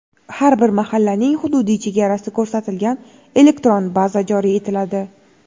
Har bir mahallaning hududiy chegarasi ko‘rsatilgan elektron baza joriy etiladi.